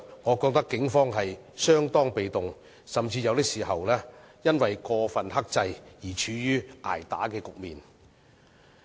我認為警方相當被動，甚至有時更因過分克制而處於"捱打"局面。